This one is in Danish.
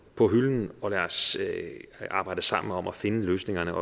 på hylden og lad os så arbejde sammen om at finde løsningerne